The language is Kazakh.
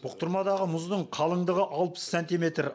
бұқтырмадағы мұздың қалыңдығы алпыс сантиметр